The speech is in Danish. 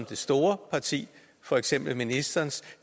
det store parti for eksempel ministerens